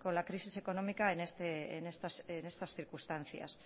con la crisis económica en estas circunstancias